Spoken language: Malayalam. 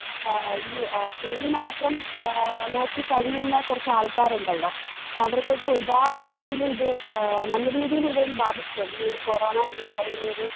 ആഹ് ഈ ആ ജോലി മാത്രം ഏഹ് നോക്കിക്കഴിയുന്ന കൊറച്ചാൾക്കാരൊണ്ടല്ലോ അവർക്കൊക്കെ ഒരുപാട് രീതിയില് ഇത് ആഹ് നല്ലരീതിയിലിതൊന്ന് ബാധിച്ചിട്ടൊണ്ട് ഈയൊര് കൊറോണ എന്ന് പറയുന്നൊരു